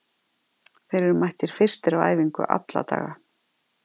Þeir eru mættir fyrstir á æfingu alla daga.